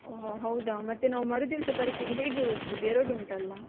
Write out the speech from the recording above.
ಒಹ್ ಹೌದ ಮತ್ತೆ ನಾವು ಮರು ದಿವ್ಸ ಪರೀಕ್ಷೆಗೆ ಹೇಗೆ ಓದುದು ಎರಡು ಉಂಟಲ್ಲ?